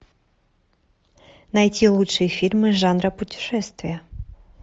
найти лучшие фильмы жанра путешествие